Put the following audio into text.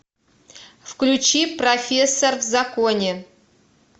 включи профессор в законе